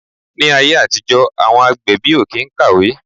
Ni ayé àtijó àwọn agbẹ̀bí o kín kàwé